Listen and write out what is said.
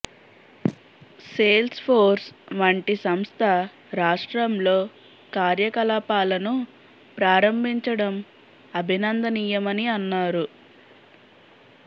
sales force వంటి సంస్థ రాష్ట్రంలో కార్యకలాపాలను ప్రారంభించడం అభినందనీయమని అన్నారు